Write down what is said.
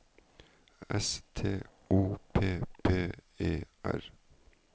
S T O P P E R